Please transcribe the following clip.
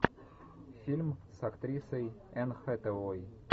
фильм с актрисой энн хэтэуэй